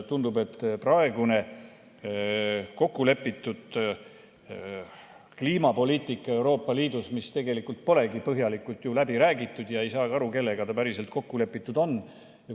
Tundub, et praegune kokkulepitud kliimapoliitika Euroopa Liidus polegi ju põhjalikult läbi räägitud ja ei saagi aru, kellega ta päriselt kokku lepitud on.